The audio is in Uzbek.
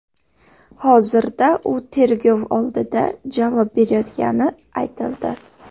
Hozirda u tergov oldida javob berayotgani aytildi.